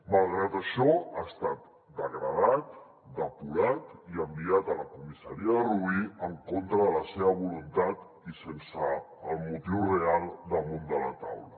malgrat això ha estat degradat depurat i enviat a la comissaria de rubí en contra de la seva voluntat i sense el motiu real damunt de la taula